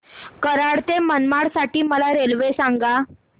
कराड ते मडगाव साठी मला रेल्वे सांगा